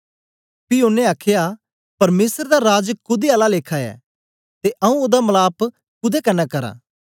पी ओनें आखया परमेसर दा राज कुदै आला लेखा ऐ ते आऊँ ओदा मलाप कुदै कन्ने करां